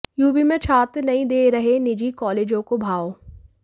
UP में छात्र नहीं दे रहे निजी कॉलेजों को भाव